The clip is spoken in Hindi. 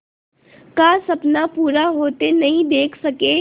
का सपना पूरा होते नहीं देख सके